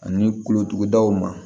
Ani kulotudaw ma